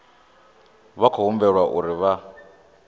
vha khou humbelwa uri vha